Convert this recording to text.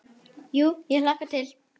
Jú ég hlakka til.